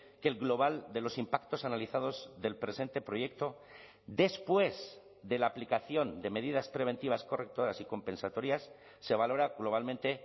que el global de los impactos analizados del presente proyecto después de la aplicación de medidas preventivas correctoras y compensatorias se valora globalmente